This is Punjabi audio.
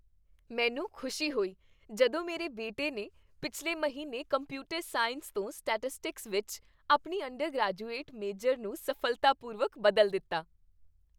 ਮੈਨੂੰ ਖੁਸ਼ੀ ਹੋਈ ਜਦੋਂ ਮੇਰੇ ਬੇਟੇ ਨੇ ਪਿਛਲੇ ਮਹੀਨੇ ਕੰਪਿਊਟਰ ਸਾਇੰਸ ਤੋਂ ਸਟੈਟਿਸਟਿਕਸ ਵਿੱਚ ਆਪਣੀ ਅੰਡਰਗਰੈਜੂਏਟ ਮੇਜਰ ਨੂੰ ਸਫ਼ਲਤਾਪੂਰਵਕ ਬਦਲ ਦਿੱਤਾ।